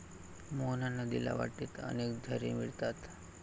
मोहना नदीला वाटेत अनेक झरे मिळतात.